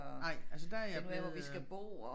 Nej altså der er jeg blevet øh